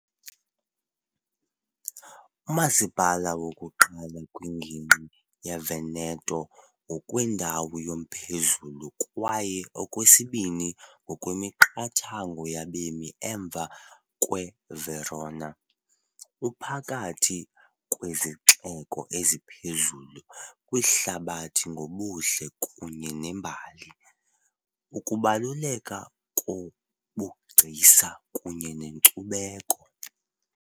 Umasipala wokuqala kwingingqi yeVeneto ngokwendawo yomphezulu kwaye okwesibini ngokwemiqathango yabemi emva kweVerona , uphakathi kwezixeko eziphezulu kwihlabathi ngobuhle kunye nembali, ukubaluleka kobugcisa kunye nenkcubeko.